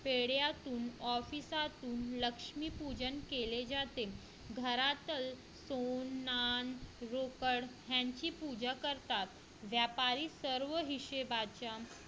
पेढ्यातून office मधून लक्ष्मीपूजन केले जाते घरातील रोकड यांचे पूजा करतात व्यापारी सर्व हिशोबाच्या